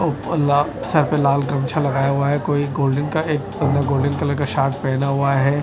ऊपर ला सर पे लाल कमच्छा लगाया हुआ है कोई गोल्डेन का एक मतलब गोल्डेन कलर का शर्ट पहना हुआ है।